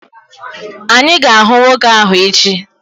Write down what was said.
Anyị ga-ahụ nwoke ahụ echi.